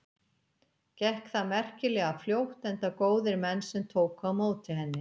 Gekk það merkilega fljótt enda góðir menn sem tóku á móti henni.